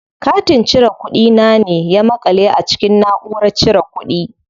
Katin cire kuɗi na ne ya maƙale a cikin naʼurar cire kuɗi.